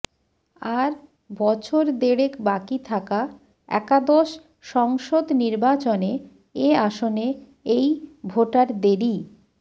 আর বছর দেড়েক বাকি থাকা একাদশ সংসদ নির্বাচনে এ আসনে এই ভোটারদেরই